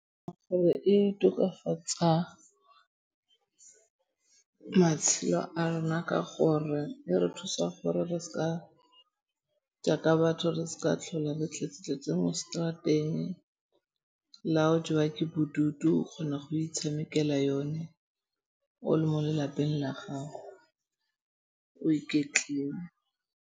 Gore e tokafatsa matshelo a rona ka gore e re thusa gore re seka jaaka batho re sa tlhola re tletse-tletse mo seterateng. La o jewa ke bodutu o kgona go itshamekela yone o le mo lelapeng la gago o iketlile.